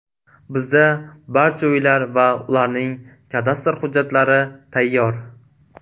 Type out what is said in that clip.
Bizda barcha uylar va ularning kadastr hujjatlari tayyor.